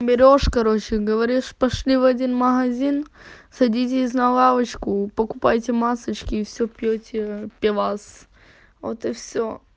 берёшь короче говоришь пошли в один магазин садитесь на лавочку покупайте масочки и все пьёте пивас вот и все